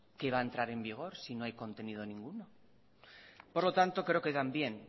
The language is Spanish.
qué va a entrar en vigor si no hay contenido ninguno por lo tanto creo que también